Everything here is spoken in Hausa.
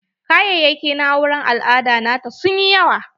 Kayayaki na auren al'ada nata sun yi yawa.